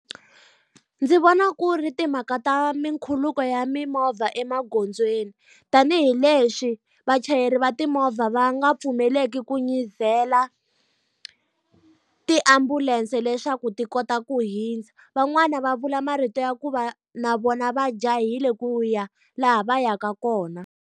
Ndzi vona ku ri timhaka ta mina khuluka ya mimovha emagondzweni. Tanihi lexi vachayeri va timovha va nga pfumeleki ku nyizela tiambulense leswaku ti kota ku hundza. Van'wani va vula marito ya ku va na vona va jahile ku ya laha va yaka kona.